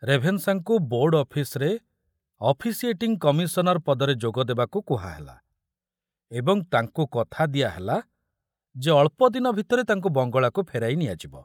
ରେଭେନଶାଙ୍କୁ board ଅଫିସରେ officiating commissioner ପଦରେ ଯୋଗ ଦେବାକୁ କୁହାହେଲା ଏବଂ ତାଙ୍କୁ କଥା ଦିଆହେଲା ଯେ ଅଳ୍ପଦିନ ଭିତରେ ତାଙ୍କୁ ବଙ୍ଗଳାକୁ ଫେରାଇ ନିଆଯିବ।